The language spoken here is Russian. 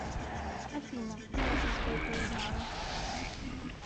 афина нет насколько я знаю